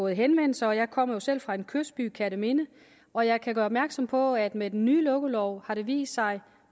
henvendelser jeg kommer jo selv fra en kystby nemlig kerteminde og jeg kan gøre opmærksom på at med den nye lukkelov har det vist sig